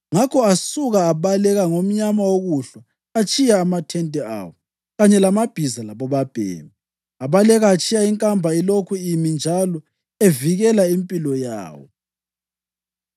Ngakho asuka abaleka ngomnyama wokuhlwa atshiya amathente awo kanye lamabhiza labobabhemi. Abaleka atshiya inkamba ilokhu imi injalo evikela impilo yawo.